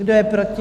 Kdo je proti?